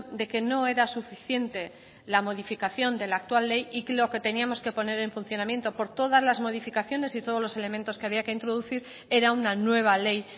de que no era suficiente la modificación de la actual ley y que lo que teníamos que poner en funcionamiento por todas las modificaciones y todos los elementos que había que introducir era una nueva ley